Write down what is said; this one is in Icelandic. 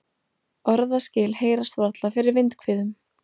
Orðaskil heyrast varla fyrir vindhviðum.